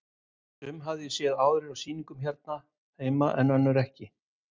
Sum hafði ég séð áður á sýningum hérna heima en önnur ekki.